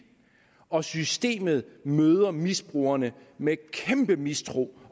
og systemet møder misbrugerne med kæmpe mistro